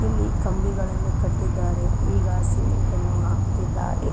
ಇಲ್ಲಿ ಕಂಬಿಗಳ್ಳನು ಕಟ್ಟಿದ್ದಾರೆ ಈಗ ಸಿಮೆಂಟನ್ನು ಹಾಕುತಿದ್ದಾರೆ.